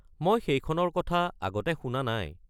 মই সেইখনৰ কথা আগতে শুনা নাই।